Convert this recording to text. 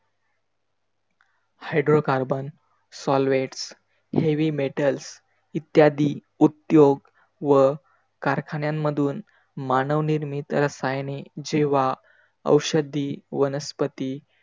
hydrocarbon, solvets, heavy metals इद्यादी उद्योग व कारखान्यांमधून मानवनिर्मित रसायने जेव्हा औषधी वनस्पती,